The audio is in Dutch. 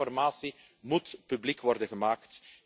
Meer informatie moet publiek worden gemaakt.